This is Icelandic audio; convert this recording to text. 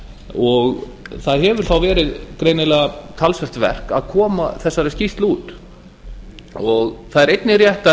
og það þá verið greinilega talsvert verk að koma þessari skýrslu út það er einnig rétt að